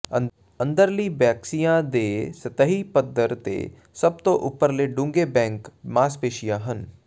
ਅੰਦਰਲੀ ਬੈਕੀਸ਼ੀਆਂ ਦੇ ਸਤਹੀ ਪੱਧਰ ਤੇ ਸਭ ਤੋਂ ਉੱਪਰਲੇ ਡੂੰਘੇ ਬੈਕ ਮਾਸਪੇਸ਼ੀਆਂ ਹਨ